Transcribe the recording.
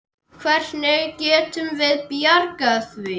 Hvernig getum við bjargað því?